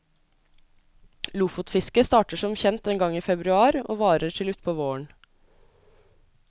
Lofotfisket starter som kjent en gang i februar, og varer til utpå våren.